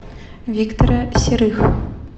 виктора серых